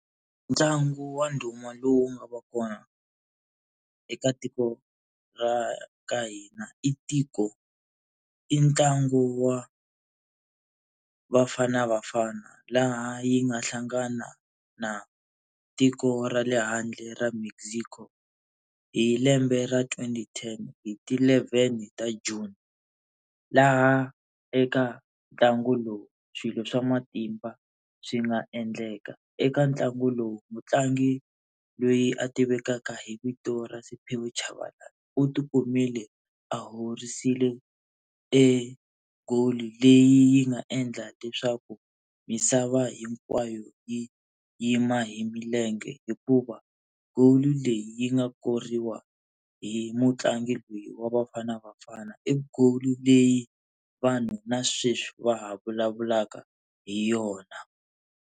Ntlangu wa ndhuma lowu nga va kona eka tiko ra ka hina i tiko i ntlangu wa Bafana Bafana laha yi nga hlangana na tiko ra le handle ra Mexico hi lembe ra twenty ten hi ti eleven ta June, laha eka ntlangu lowu swilo swa matimba swi nga endleka eka ntlangu lowu. Mutlangi loyi a tivekaka hi vito ra Simpiwe Tshabalala u ti kumile a howisile e goal leyi yi nga endla leswaku misava hinkwayo yi yima hi milenge, hikuva goal leyi yi nga koriwa hi mutlangi loyi wa Bafana Bafana i goal leyi vanhu na sweswi va ha vulavulaka hi yona.